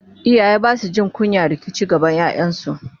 iyaye Basu Jin kunyan yin rikici gaban ƴaƴansu?